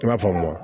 I b'a fɔ